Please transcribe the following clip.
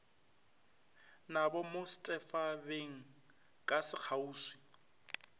nabo mo setphabeng ka sekgauswi